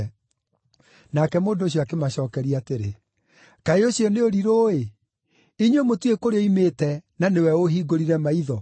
Nake mũndũ ũcio akĩmacookeria atĩrĩ, “Kaĩ ũcio nĩ ũrirũ-ĩ! Inyuĩ mũtiũĩ kũrĩa oimĩte, na nĩwe ũũhingũrire maitho.